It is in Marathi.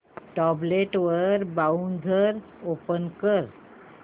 टॅब्लेट वर ब्राऊझर ओपन कर